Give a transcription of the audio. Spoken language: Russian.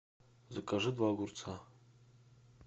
закажи два огурца